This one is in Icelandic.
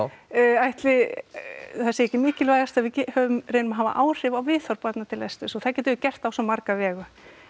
ætli það sé ekki mikilvægast að við reynum að hafa áhrif á viðhorf barna til lesturs og það getum við gert á svo marga vegu